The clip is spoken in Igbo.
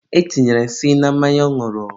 e tinyere nsị na mmanya ọ ñụrụ.